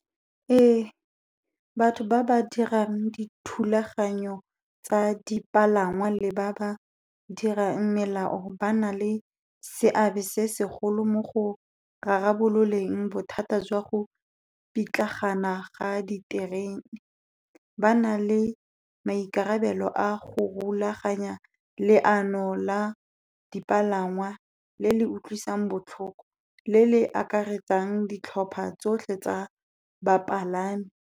Ee, batho ba ba dirang dithulaganyo tsa dipalangwa le ba ba dirang melao, ba na le seabe se segolo mo go rarabololeng bothata jwa go pitlagana ga diterene. Ba na le maikarabelo a go rulaganya leano la dipalangwa le le utlwisang botlhoko, le le akaretsang ditlhopha tsotlhe tsa bapalami.